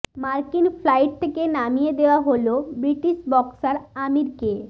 মার্কিন ফ্লাইট থেকে নামিয়ে দেওয়া হলো ব্রিটিশ বক্সার আমিরকে